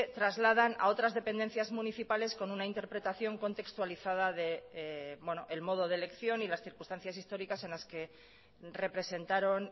trasladan a otras dependencias municipales con una interpretación contextualizada del modo de elección y las circunstancias históricas en las que representaron